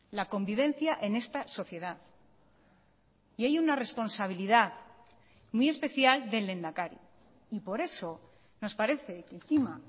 la convivencia en esta sociedad y hay una responsabilidad muy especial del lehendakari y por eso nos parece que encima